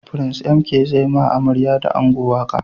Prince MK zai ma amarya da ango waƙa